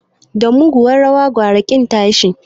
Da mugunyar rawa gwamma ƙin tashi